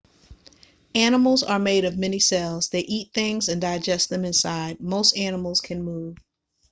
animals are made of many cells they eat things and digest them inside most animals can move